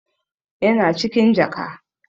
Yana cikin jaka.